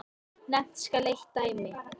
Nefnt skal eitt dæmi.